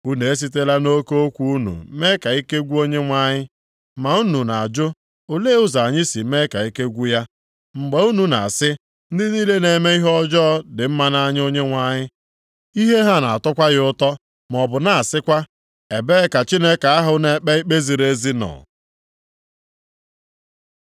Unu esitela nʼoke okwu unu mee ka ike gwụ Onyenwe anyị. Ma unu na-ajụ, “Olee ụzọ anyị si mee ka ike gwụ ya?” Mgbe unu na-asị, “Ndị niile na-eme ihe ọjọọ dị mma nʼanya Onyenwe anyị. Ihe ha na-atọkwa ya ụtọ,” maọbụ na-asịkwa, “Ebee ka Chineke ahụ na-ekpe ikpe ziri ezi nọ?”